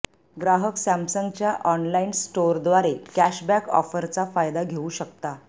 ग्राहक सॅमसंगच्या ऑनलाइन स्टोरद्वारे कॅशबॅक ऑफरचा फायदा घेवू शकता